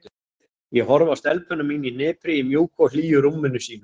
Ég horfi á stelpuna mína í hnipri í mjúku og hlýju rúminu sínu.